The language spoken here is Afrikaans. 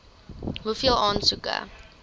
hoeveel aansoeke